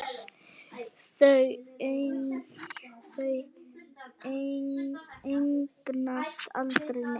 Þau eignast aldrei neitt.